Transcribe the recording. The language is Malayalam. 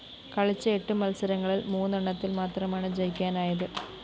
കളിച്ച എട്ട് മത്സരങ്ങളില്‍ മൂന്നെണ്ണത്തില്‍ മാത്രമാണ് ജയിക്കാനായത്